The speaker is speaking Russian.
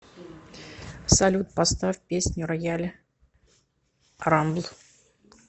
салют поставь песню роял рамбл